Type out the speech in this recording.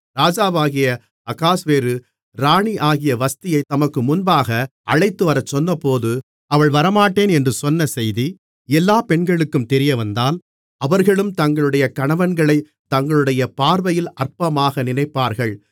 ராஜாவாகிய அகாஸ்வேரு ராணியாகிய வஸ்தியைத் தமக்கு முன்பாக அழைத்துவரச் சொன்னபோது அவள் வரமாட்டேன் என்று சொன்ன செய்தி எல்லாப் பெண்களுக்கும் தெரியவந்தால் அவர்களும் தங்களுடைய கணவன்களைத் தங்களுடைய பார்வையில் அற்பமாக நினைப்பார்கள்